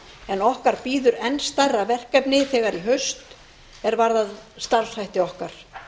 en okkar bíður en stærra verkefni þegar í haust er varðar starfshætti okkar